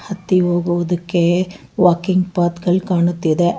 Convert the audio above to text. ಹತ್ತಿ ಹೋಗುವುದಕ್ಕೆ ವಾಕಿಂಗ್ ಪಾತ್ ಗಳ್ ಕಾಣುತ್ತಿದೆ.